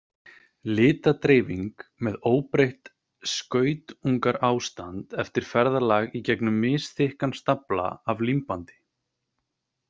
Litadreifing með óbreytt skautunarástand eftir ferðalag í gegnum misþykkan stafla af límbandi.